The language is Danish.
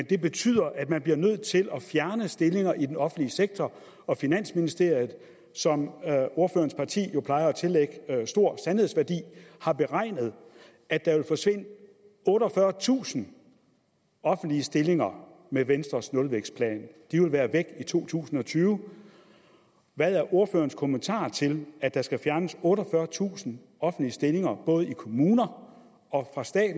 det betyder at man bliver nødt til at fjerne stillinger i den offentlige sektor finansministeriet som ordførerens parti jo plejer at tillægge stor sandhedsværdi har beregnet at der vil forsvinde otteogfyrretusind offentlige stillinger med venstres nulvækstplan de vil være væk i to tusind og tyve hvad er ordførerens kommentar til at der skal fjernes otteogfyrretusind offentlige stillinger både i kommunerne og